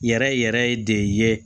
Yɛrɛ yɛrɛ de ye